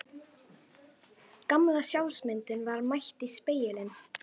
Gamla sjálfsmyndin var mætt í spegilinn.